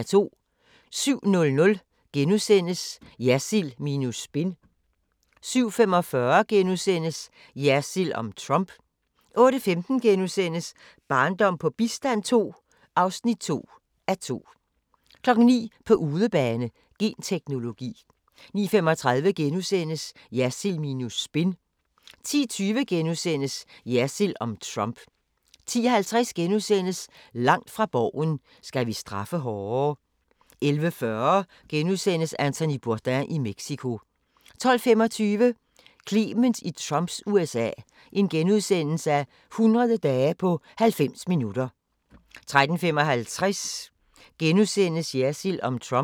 07:00: Jersild minus spin * 07:45: Jersild om Trump * 08:15: Barndom på bistand II (2:2)* 09:00: På udebane: Genteknologi 09:35: Jersild minus spin * 10:20: Jersild om Trump * 10:50: Langt fra Borgen: Skal vi straffe hårdere? * 11:40: Anthony Bourdain i Mexico * 12:25: Clement i Trumps USA – 100 dage på 90 minutter * 13:55: Jersild om Trump *